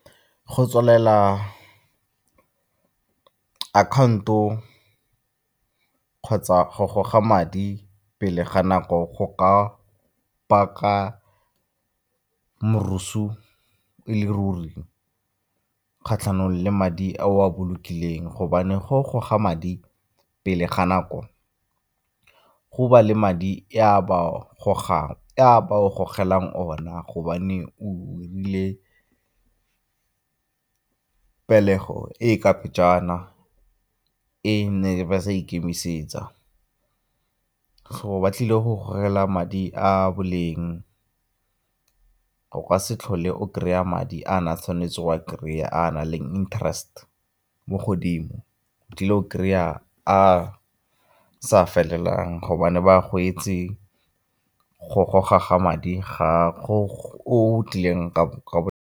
Go tswalela account-o kgotsa go goga madi pele ga nako go ka baka e le ruri kgatlhanong le madi a o a bolokileng gobane ga o goga madi pele ga nako go ba le madi a ba o gogelang ona gobane o 'irile pelego e e ka pejana, e ne ba sa ikemisetsa. So ba tlile go gore fela madi a boleng go ka se tlhole o kry-a madi a na tshwanetse wa kry-a a na leng interest mo godimo o tlile go kry-a a a sa felelang gobane ba goetse go goga madi gago o tlileng ka .